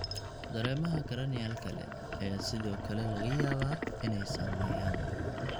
Dareemaha cranial kale ayaa sidoo kale laga yaabaa inay saameeyaan.